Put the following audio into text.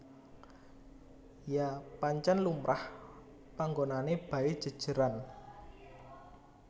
Ya pancen lumrah panggonane bae jejeran